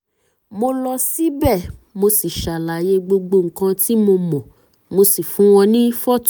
mo lọ síbẹ̀ mo sì ṣàlàyé gbogbo nǹkan tí mo mọ̀ mo sì fún wọn ní fọ́tò